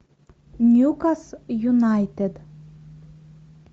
ньюкас юнайтед